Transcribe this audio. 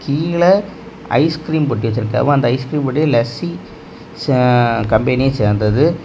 கீழ ஐஸ்கிரீம் பொட்டி வச்சிருக்காங்க அந்த ஐஸ்கிரீம் பொட்டி லஸ்ஸி ஆ கம்பெனிய சேர்ந்தது.